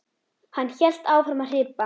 Hann hélt áfram að hripa